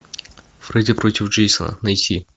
фредди против джейсона найти